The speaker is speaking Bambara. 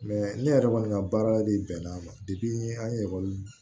ne yɛrɛ kɔni ka baara de bɛnna ma an ekɔli